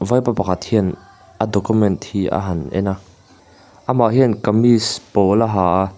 vaipa pakhat hian a document hi a han en a amah hian kamis pawl a ha a.